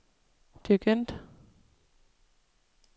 dirigent